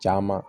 Caman